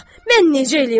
Mən necə eləyim, ay kişi!